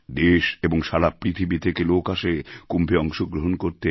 দেশ এবং সারা পৃথিবী থেকে লোক আসে কুম্ভে অংশগ্রহণ করতে